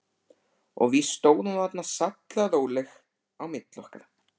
Og víst stóð hún þarna sallaróleg á milli okkar.